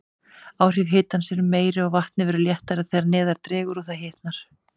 Áhrif hitans eru meiri, og vatnið verður léttara þegar neðar dregur og það hitnar.